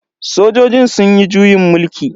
Sojojin sunyi juyin mulki.